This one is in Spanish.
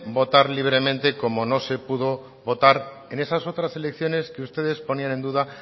votar libremente como no se pudo votar en esas otras elecciones que ustedes ponían en duda